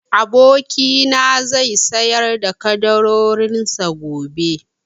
Abokina na zai sayar da ƙaddarorin sa gobe